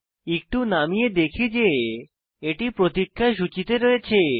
একটু নামিয়ে দেখি যে এটি প্রতিক্ষা সূচীতে রয়েছে